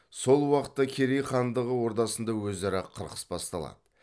сол уақытта керей хандығы ордасында өзара қырқыс басталады